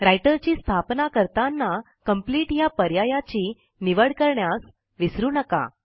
writer ची स्थापना करताना आपल्याला कंप्लीट ह्या पर्यायाची निवड करण्यास विसरू नका